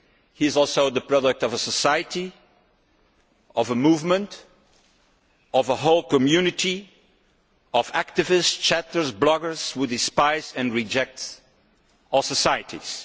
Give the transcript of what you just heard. He is also the product of a society, of a movement and of a whole community of activists, chatters and bloggers who despise and reject all societies.